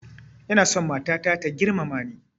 Ina so matata ta girmama ni